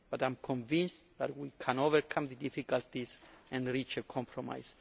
But I am convinced that we can overcome the difficulties and reach a compromise.